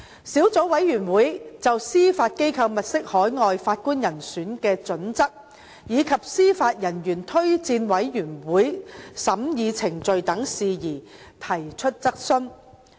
小組委員會亦就司法機構物色海外法官人選的準則，以及司法人員推薦委員會的審議程序等事宜提出質詢。